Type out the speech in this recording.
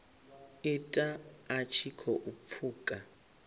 ita a tshi khou pfuka